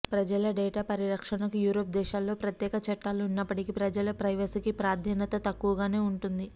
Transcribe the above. ప్రజల డెటా పరిరక్షణకు యూరప్ దేశాల్లో ప్రత్యేక చట్టాలు ఉన్నప్పటికీ ప్రజల ప్రైవసీకి ప్రాధాన్యత తక్కువగానే ఉంటోంది